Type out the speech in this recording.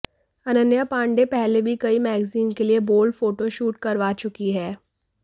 अनन्या पांडे पहले भी कई मैगजीन के लिए बोल्ड फोटोशूट करवा चुकी हैं